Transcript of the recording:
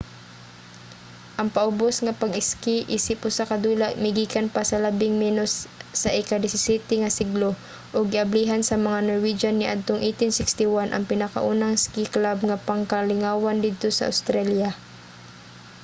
ang paubos nga pag-iski isip usa ka dula migikan pa sa labing menos sa ika-17 nga siglo ug giablihan sa mga norwegian niadtong 1861 ang pinakaunang iski club nga pangkalingawan didto sa australia